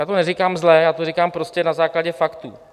Já to neříkám zle, já to říkám prostě na základě faktů.